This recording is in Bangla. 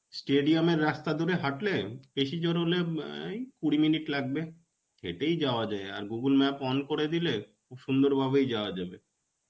stedium এর রাস্তা ধরে হাটলে বেশী জোর হলে ম এই কুড়ি minute লাগবে. হেটেই যাওয়া যায়. আর Google map on করে দিলে সুন্দর ভাবেই যাওয়া যাবে.